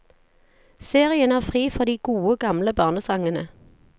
Serien er fri for de gode, gamle barnesangene.